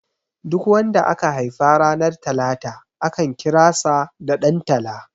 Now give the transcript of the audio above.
Duk wanda aka haifa ranar talata akan kira sa da Dan tala